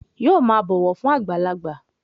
Yóò máa bọ̀wọ̀ fún àgbàlagbà